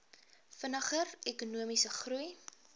vinniger ekonomiese groei